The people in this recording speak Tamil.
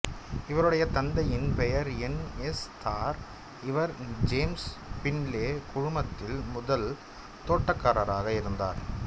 இவருடைய தந்தையின் பெயர் என் எஸ் தார் இவர் ஜேம்ஸ் பின்லே குழுமத்தில் முதல் தோட்டக்காரராக இருந்தார்